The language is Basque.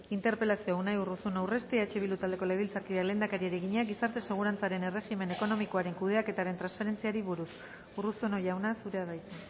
interpelazioa unai urruzuno urresti eh bildu taldeko legebiltzarkideak lehendakariari egina gizarte segurantzaren erregimen ekonomikoaren kudeaketaren transferentziari buruz urruzuno jauna zurea da hitza